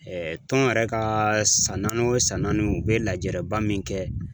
tɔn yɛrɛ ka san naani o san naani u bɛ lajɛraba min kɛ